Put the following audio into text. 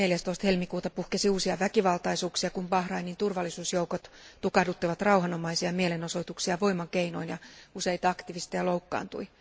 14. helmikuuta puhkesi uusia väkivaltaisuuksia, kun Bahrainin turvallisuusjoukot tukahduttivat rauhanomaisia mielenosoituksia voimakeinoin ja useita aktivisteja loukkaantui.